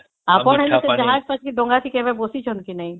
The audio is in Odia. ଆପଣ ହେଲେ ସେଥି ଜାହାଜ ସେ ଡଙ୍ଗା ଥି କେବେ ବସିଛନ୍ତି କି ନାଇଁ?